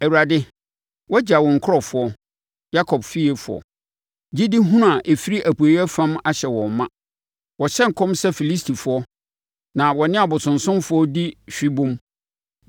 Awurade, Woagya wo nkurɔfoɔ, Yakob fiefoɔ. Gyedihunu a ɛfiri apueeɛ fam ahyɛ wɔn ma; wɔhyɛ nkɔm sɛ Filistifoɔ na wɔ ne abosonsomfoɔ di hwebom.